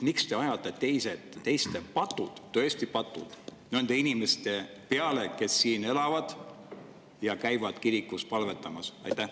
Miks te ajate teiste patud, tõesti patud, nende inimeste peale, kes siin elavad ja käivad kirikus palvetamas?